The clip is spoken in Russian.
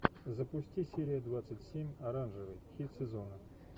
запусти серия двадцать семь оранжевый хит сезона